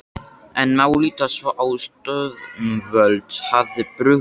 En má líta svo á að stjórnvöld hafi brugðist?